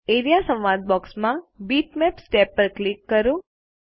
A R E A સંવાદ box માં bitmaps tab પર ક્લિક કરો